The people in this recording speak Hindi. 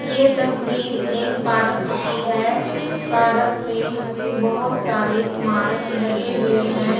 यह तस्वीर एक पार्क की है पार्क में बहुत सारे स्मारक लगे हुए हैं।